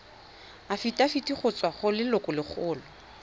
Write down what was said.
afitafiti go tswa go lelokolegolo